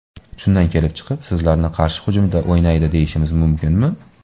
Shundan kelib chiqib, sizlarni qarshi hujumda o‘ynaydi deyishimiz mumkinmi?